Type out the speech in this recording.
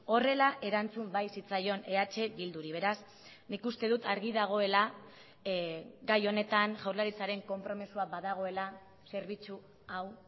horrela erantzun bai zitzaion eh bilduri beraz nik uste dut argi dagoela gai honetan jaurlaritzaren konpromisoa badagoela zerbitzu hau